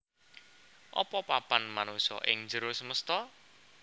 Apa papan manungsa ing njero semesta